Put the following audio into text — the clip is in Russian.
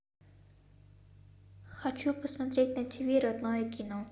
хочу посмотреть на ти ви родное кино